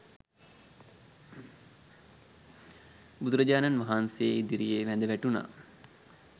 බුදුරජාණන් වහන්සේ ඉදිරියේ වැඳ වැටුණා.